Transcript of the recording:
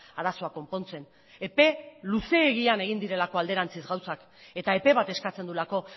arazoak konpontzen epe luzeegian egin direlako alderantziz gauzak eta epe bat eskatzen duelako